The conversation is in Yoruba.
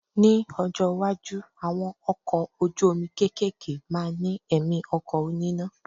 Ní ọjọ́ iwájú, àwọn ọkọ̀ ojú omi kéékèèké máa ní ẹ̀mí ọkọ̀ oníná.